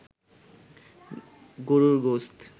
গরুর গোসত